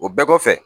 O bɛɛ kɔfɛ